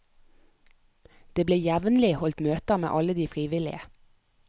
Det ble jevnlig holdt møter med alle de frivillige.